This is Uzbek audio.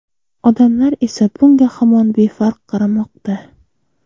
Odamlar esa bunga hamon befarq qaramoqda.